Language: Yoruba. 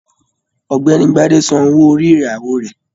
Ọ̀gbẹ́ni Gbade sàn owó orí ìyàwó rẹ.